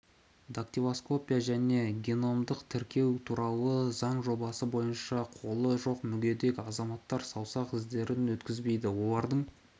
дактилоскопия және геномдық тіркеу туралы заң жобасы бойынша қолы жоқ мүгедек азаматтар саусақ іздерін өткізбейді олардың